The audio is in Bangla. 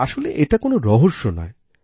আসলে এটা কোনো রহস্যই নয়